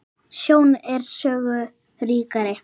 Sjón er sögu ríkari.